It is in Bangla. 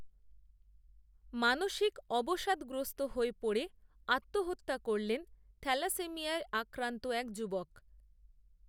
মানসিক অবসাদগ্রস্ত হয়ে পড়ে, আত্মহত্যা করলেন, থ্যালাসেমিয়ায় আক্রান্ত এক যুবক